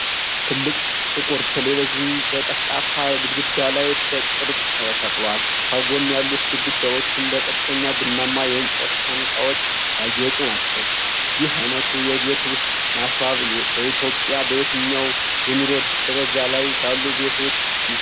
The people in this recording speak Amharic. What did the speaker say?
ትልቅ ጥቁር ቴሌቪዥን በጠፍጣፋ ግድግዳ ላይ በቅርጽ ተሰቅሏል፣ ከጎን ያሉት ግድግዳዎችም በቀጥተኛ ቡናማ የእንጨት ሳንቃዎች ያጌጡ ናቸው። ይህ ዓይነቱ የቤት ውስጥ ማስዋብ በኢትዮጵያ በየትኛው የኑሮ ደረጃ ላይ ባሉ ቤቶች ይዘወተራል?